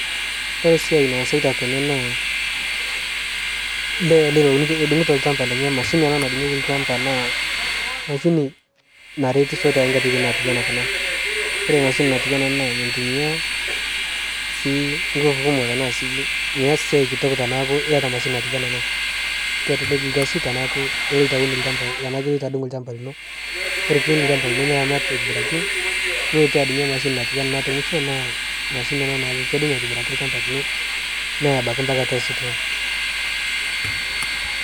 kore siai naasaita tenee naa lee ale lounuto lsampa lenye mashini anaa nadungieki lshampa naa mashini naretisho tankatitin natuwaa kunaa kore mashini natuwaa ana naa mintumia sii nguvu kumok tanaa sii miaz siai kitok tanaaku iata mashini natuwana anaa kelek lkazi tanaaku iloito awun lshampa tanaaku iloito adung lshampa linoo kore piwun lshampa lino niramat aitibiraki nulotu adungie mashini natuwana anaa te mushoo anaa naaku kedung aitibiraki lshampa linoo neyaa abaki mpaka atua store